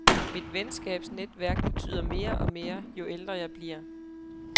Mit venskabsnetværk betyder mere og mere, jo ældre jeg bliver.